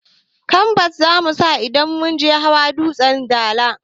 Kambas zamusa idan zamuje hawa dutsen dala